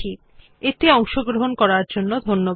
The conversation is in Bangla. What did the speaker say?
এই টিউটোরিয়াল এ অংশগ্রহন করার জন্য ধন্যবাদ